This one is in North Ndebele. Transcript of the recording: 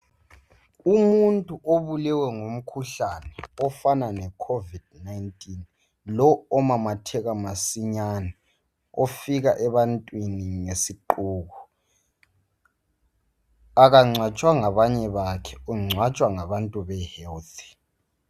umuntu obulewe ngumkhuhlane ofana le covid 19 lo omamatheka masinyane ofika ebantwini ngesiqubu akancwatshwa ngabanye bakhe uncwatshwa ngabantu be health